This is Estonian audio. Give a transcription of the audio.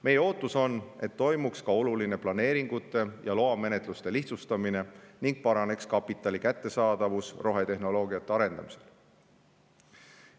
Meie ootus on, et toimuks ka oluline planeeringute ja loamenetluste lihtsustamine ning paraneks kapitali kättesaadavus rohetehnoloogia arendamiseks.